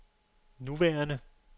nuværende